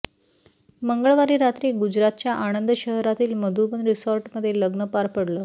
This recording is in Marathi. मंगळवारी रात्री गुजारतच्या आणंद शहरातील मधुबन रिसोर्टमध्ये लग्न पार पडलं